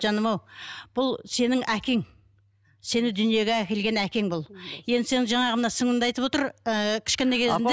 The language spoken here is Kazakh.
жаным ау бұл сенің әкең сені дүниеге әкелген әкең бұл енді сен жаңағы мына сіңлілім де айтып отыр ыыы кішкентай кезінде